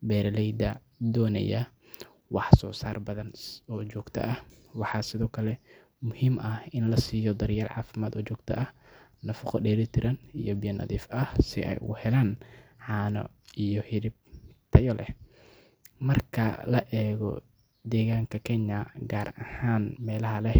beeraleyda doonaya wax-soosaar badan oo joogto ah. Waxaa sidoo kale muhiim ah in la siiyo daryeel caafimaad oo joogto ah, nafaqo dheelitiran iyo biyo nadiif ah si ay uga helaan caano iyo hilib tayo leh. Marka la eego deegaanka Kenya, gaar ahaan meelaha leh.